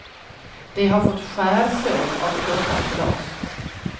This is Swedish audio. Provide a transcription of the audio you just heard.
De har fått skärsår av krossat glas.